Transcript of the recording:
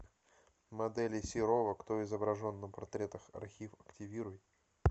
моделей серова кто изображен на портретах архив активируй